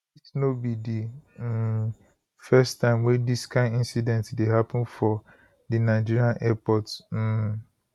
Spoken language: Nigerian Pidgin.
dis no be di um first time wey dis kain incident dey happun for di nigeria airports um